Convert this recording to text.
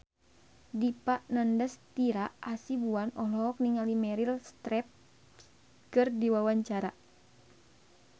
Dipa Nandastyra Hasibuan olohok ningali Meryl Streep keur diwawancara